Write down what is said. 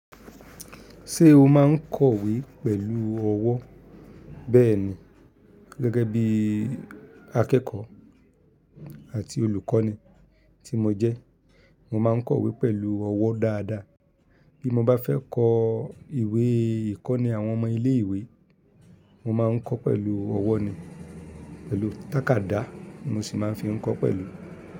Ṣé o máa ń kọ̀wé pẹ̀lú ọwọ́? Bẹ́ẹ̀ni, gẹ́gẹ́ bí i akẹ́kọ̀ọ́ àti olùkọ́ni tí mo jẹ́, mo máa ń kọ̀wé pẹ̀lú ọwọ́ dáadáa. Bí mo bá fẹ́ kọ ìwé ìkọ́ni àwọn ọmọ ilé ìwé, mo máa ń kọ pẹ̀lú ọwọ́ ni, pẹ̀lú tàkádá mo sì máa ń fi kọ pẹ̀lú.